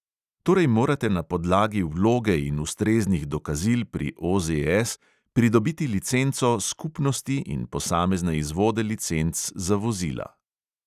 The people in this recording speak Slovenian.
Torej morate na podlagi vloge in ustreznih dokazil pri OZS pridobiti licenco skupnosti in posamezne izvode licenc za vozila.